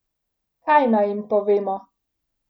Kaj naj jim povemo?